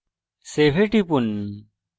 save এ টিপুন